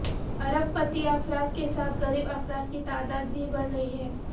ارب پتی افراد کے ساتھ غریب افراد کی تعداد بھی بڑھ رہی ہے